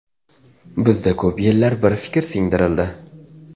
Bizda ko‘p yillar bir fikr singdirildi.